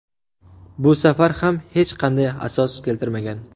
Bu safar ham hech qanday asos keltirmagan.